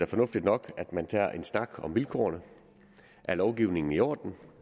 fornuftigt nok at man tager en snak om vilkårene er lovgivningen i orden